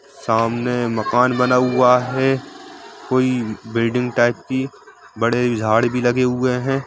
सामने माकन बना हुआ है कोई बिल्डिंग टाइप की बड़े झाड़ भी लगे हुए है।